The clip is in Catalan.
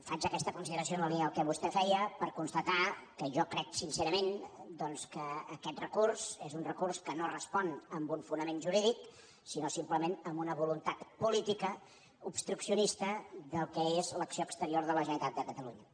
faig aquesta consideració en la línia del que vostè feia per constatar que jo crec sincerament que aquest recurs és un recurs no respon a un fonament jurídic sinó simplement a una voluntat política obstruccionista del que és l’acció exterior de la generalitat de catalunya